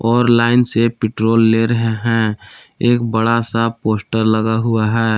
और लाइन से पेट्रोल ले रहे हैं। एक बड़ा सा पोस्टर लगा हुआ है।